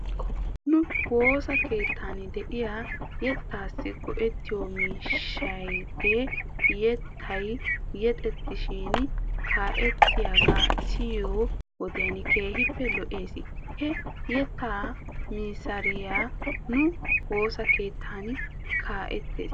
Nu woossa keettan diyaa yetaassi go'ettiyoo miishshayaagee yettay yexettishin kaa'ettiyaagaa siyiyoo wodiyan keehippe lo'es. He yettaa masaariyaa nu woosa keettan kaa'ettis.